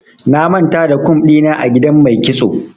Na manta da kum ɗina a gidan mai kitso.